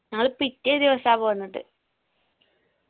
ഞങ്ങള് പിറ്റേ ദിവസ പോന്നത്